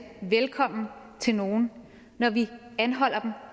velkommen til nogen når vi anholder